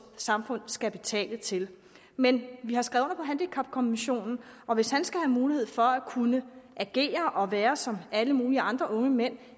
samfund skal betale til men vi har skrevet under på handicapkonventionen og hvis han skal have mulighed for at kunne agere og være som alle mulige andre unge mænd